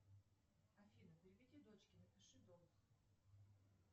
афина переведи дочке напиши долг